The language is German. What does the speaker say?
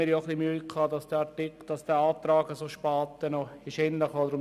Zudem hatten wir etwas Mühe damit, dass der Antrag so spät noch eingereicht wurde.